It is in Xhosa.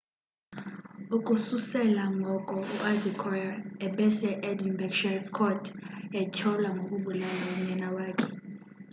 ukususela ngoko uadekoya ebese-edinburgh sheriff court etyholwa ngokubulala unyana wakhe